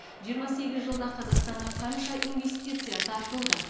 жиырма сегіз жылда қазақстанға қанша инвестиция тартылды